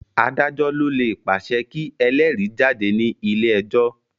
Adájọ́ ló lè pàṣẹ kí elérìí jáde ní ilé ẹjọ́.